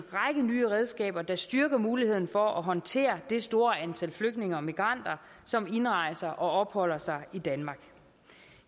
nye redskaber der styrker muligheden for at håndtere det store antal flygtninge og migranter som indrejser og opholder sig i danmark